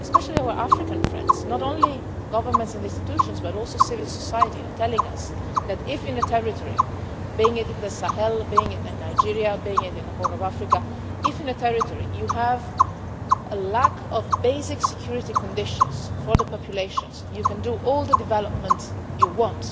especially our African friends, not only governments and institutions, but also civil society, are telling us, that if in a territory, be it in the Sahel, be it in Nigeria, be it in the Horn of Africa, if you have a lack of basic security conditions for the populations, you can do all the development you want